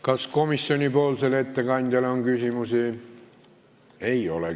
Kas komisjoni ettekandjale on küsimusi?